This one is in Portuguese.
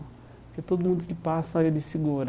Porque todo mundo que passa, ele segura.